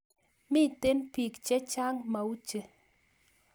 Miten pik che chang mauche